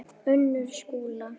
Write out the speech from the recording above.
Unnur Skúla.